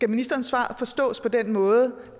ministerens svar forstås på den måde